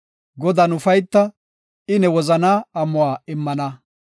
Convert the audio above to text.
Godan ufayta; I ne wozanaa amuwa immana.